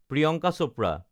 Priyanka Chopra